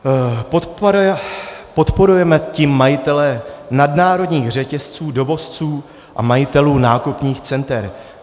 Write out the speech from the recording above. Podporujeme tím majitele nadnárodních řetězců, dovozce a majitele nákupních center.